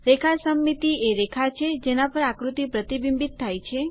રેખા સમમિતિ એ રેખા છે જેના પર આકૃતિ પ્રતિબિંબિત થાય છે